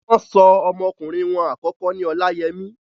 wọ́n so ọmọ ọkùnrin wọn àkọ́kọ́ ní Olayemi.